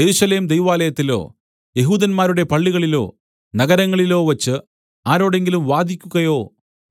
യെരൂശലേം ദൈവാലയത്തിലോ യഹൂദന്മാരുടെ പള്ളികളിലോ നഗരങ്ങളിലോ വച്ച് ആരോടെങ്കിലും വാദിക്കുകയോ